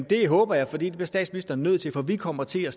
det håber jeg for det bliver statsministeren nødt til for vi kommer til at